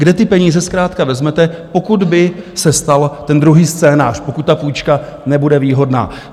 Kde ty peníze zkrátka vezmete, pokud by se stal ten druhý scénář, pokud ta půjčka nebude výhodná?